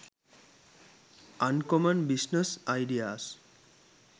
uncommon business ideas